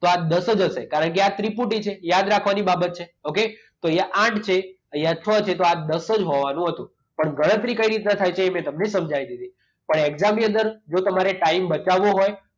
તો આ દસ જ હશે કારણકે આ ત્રિપુટી છે. યાદ રાખવાની બાબત છે. ઓકે? તો અહીંયા આઠ છે, અહીંયા છ છે તો આ દસ જ થવાનું હતું. પણ ગણતરી કઈ રીતના થાય છે એ મેં તમને સમજાય દીધી. પણ એક્ઝામની અંદર જો તમારે ટાઈમ બચાવવો હોય.